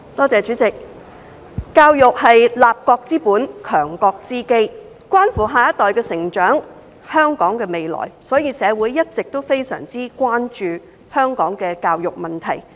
主席，教育是立國之本、強國之基，關乎下一代的成長、香港的未來，所以社會一直非常關注香港的教育問題。